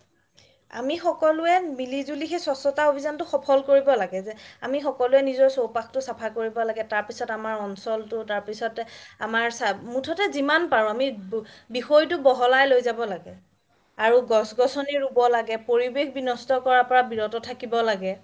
আমি সকলোৱে মিলি জোলি সেই স্বাস্থ্যতা অভিযানটো সফল কৰিব লাগে যে আমি সকলোৱে চৌপাশটো চাফা কৰিব লাগে তাৰ পাছত আমাৰ অঞ্চলটো তাৰ পাছত আমাৰ মুথতে যিমান পাৰো আমি টো বহলাই লৈ যাব আৰু গছ গছনি ৰোব লাগে পৰিৱেশ বিনস্ত কৰাৰ পৰা বিৰত থাকিব লাগে